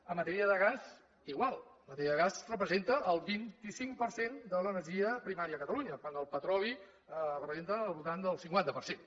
en matèria de gas igual en matèria de gas representa el vint cinc per cent de l’energia primària a catalunya quan el petroli representa al voltant del cinquanta per cent